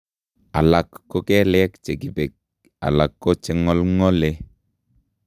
Alak ko kelek chekibek alako cheng'olng'ole